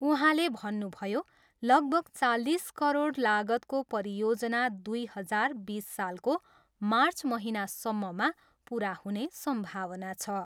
उहाँले भन्नुभयो, लगभग चालिस करोड लागतको परियोजना दुई हजार बिस सालको मार्च महिनासम्ममा पुरा हुने सम्भावना छ।